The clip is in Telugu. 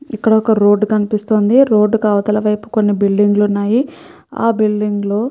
ఇక్కడ ఒక రోడ్డు కనిపిస్తుంది. ఆ రోడ్డు కి అవతలి వైపు కొన్ని బిల్డింగ్ లు ఉన్నాయి. ఆ బిల్డింగ్ లో--